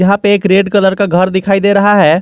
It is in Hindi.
यहां पे एक रेड कलर का घर दिखाई दे रहा है।